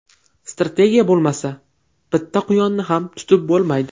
Strategiya bo‘lmasa, bitta quyonni ham tutib bo‘lmaydi.